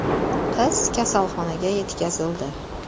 Qiz kasalxonaga yetkazildi.